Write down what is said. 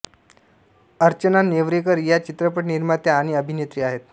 अर्चना नेवरेकर या चित्रपट निर्मात्या आणि अभिनेत्री आहेत